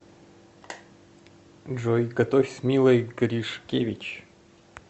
джой готовь с милой гришкевич